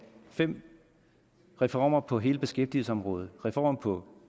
fem reformer på hele beskæftigelsesområdet reform på